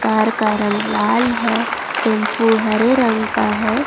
Car का रंग लाल है टेंपो हरे रंग का है।